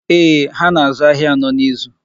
Eeh, ha na-azụ ahịa anọ n'izu.